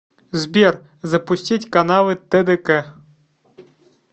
сбер запустить каналы тдк